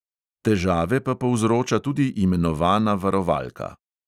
Težave pa povzroča tudi imenovana varovalka.